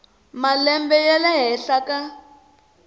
malembe ya le henhla ka